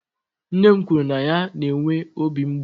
Nne m kwuru na ya na-enwe obi mgbu.